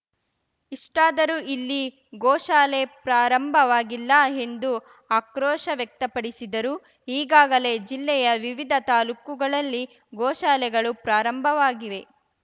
ಇಷ್ಟಾದರೂ ಇಲ್ಲಿ ಗೋಶಾಲೆ ಪ್ರಾರಂಭವಾಗಿಲ್ಲ ಎಂದು ಆಕ್ರೋಶ ವ್ಯಕ್ತಪಡಿಸಿದರು ಈಗಾಗಲೇ ಜಿಲ್ಲೆಯ ವಿವಿಧ ತಾಲೂಕುಗಳಲ್ಲಿ ಗೋಶಾಲೆಗಳು ಪ್ರಾರಂಭವಾಗಿವೆ